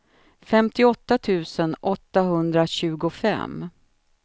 femtioåtta tusen åttahundratjugofem